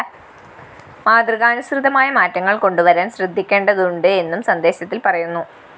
മാതൃകാനുസൃതമായ മാറ്റങ്ങള്‍ കൊണ്ടുവരാന്‍ ശ്രദ്ധിക്കേണ്ടതുണ്ട്‌ എന്നും സന്ദേശത്തില്‍ പറയുന്നു